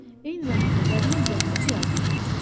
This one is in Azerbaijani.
Eyni zamanda qəbrin üzərindəki yazını oxuyurdum.